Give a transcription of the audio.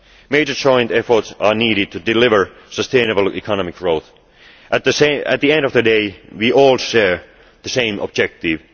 Major joint efforts are needed to deliver sustainable economic growth. At the end of the day, we all share the same objective.